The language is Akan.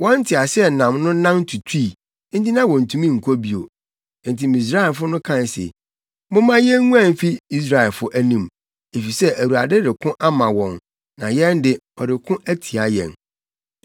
Wɔn nteaseɛnam no nan tutui, enti na wontumi nkɔ bio. Enti Misraimfo no kae se, “Momma yenguan mfi Israelfo anim, efisɛ Awurade reko ama wɔn na yɛn de, ɔreko atia yɛn.”